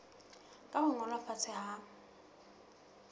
ka ho ngolwa fatshe ha